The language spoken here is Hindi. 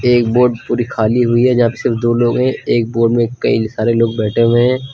एक बोट पूरी खाली हुई है यहां पे सिर्फ दो लोग हैं एक बोट में कई सारे लोग बैठे हुए हैं।